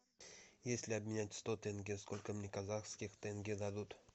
если обменять сто тенге сколько мне казахских тенге дадут